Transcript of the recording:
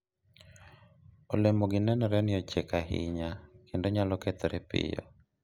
olemogi nenore ni ochiek ahinya kendo nyalo kethore piyo